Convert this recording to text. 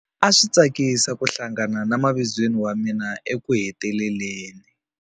A swi tsakisa ku hlangana na mavizweni wa mina ekuheteleleni.